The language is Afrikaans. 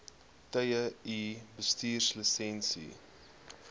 tye u bestuurslisensie